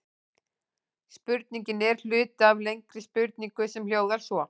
Spurningin er hluti af lengri spurningu sem hljóðar svona: